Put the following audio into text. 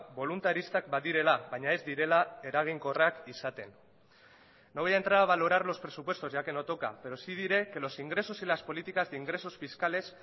boluntaristak badirela baina ez direla eraginkorrak izaten no voy a entrar a valorar los presupuestos ya que no toca pero sí diré que los ingresos y las políticas de ingresos fiscales